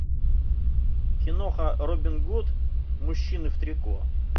киноха робин гуд мужчины в трико